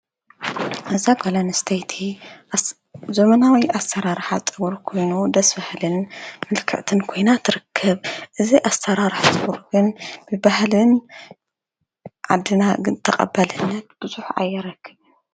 እዛ ጓለንስተይቲ ዘመናዊ ኣሠራርሓ ጸጉራ ኮይኑ ደሥ በሃልን ምልከዕትን ኮይና ትርክብ ። እዝ ኣሠራርሕ ጸጉርን ብበህሊ ዓድና ግን ተቐበልነት ብዙኅ ኣየረክብን።